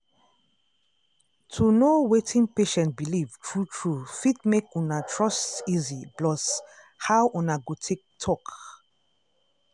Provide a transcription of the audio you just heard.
to know wetin patient believe true true fit make una trust easy plus how una go take talk